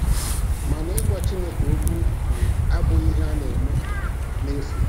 Mana ịgwa Chineke okwu um abụghị ihe a na-eme n'efu.